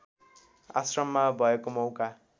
आश्रममा भएको मौका